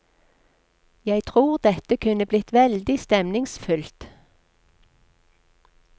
Jeg tror dette kunne blitt veldig stemningsfullt.